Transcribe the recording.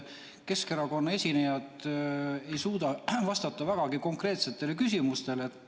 Keskerakonna esinejad ei suuda vastata vägagi konkreetsetele küsimustele.